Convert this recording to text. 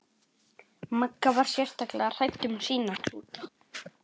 Magga var sérstaklega hrædd um sína klúta.